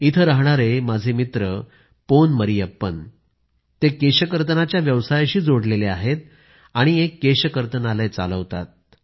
इथं रहाणारे माझे मित्र पोन मरियप्पन केशकर्तनाच्या व्यवसायाशी जोडलेले आहेत आणि एक केशकर्तनालय चालवतात